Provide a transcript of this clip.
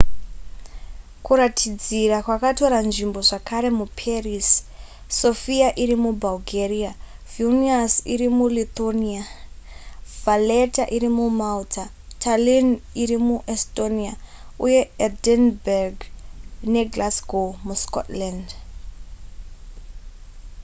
kuratidzira kwakatora nzvimbo zvakare muparis sofia iri mubulgaria vilnius iri mulithuania valetta iri mumalta tallinn iri muestonia uye edinburgh neglasgow muscotland